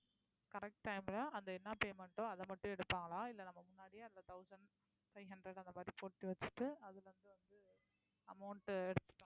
correct time ல அந்த என்ன payment ஓ அதை மட்டும் எடுப்பாங்களா இல்ல நம்ம முன்னாடியே அந்த thousand five hundred அந்த மாரி போட்டு வெச்சிட்டு அதுல இருந்து வந்து amount எதுத்துப்பாங்களா